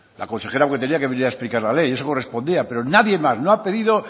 la consejera porque tenía que venir a explicar la ley eso correspondía pero nadie más no ha pedido